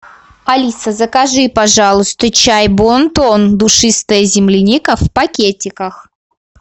алиса закажи пожалуйста чай бонтон душистая земляника в пакетиках